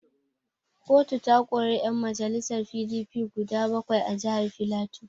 Kotu ta kori yan majalisar PDP guda bakwai a jihar Filato.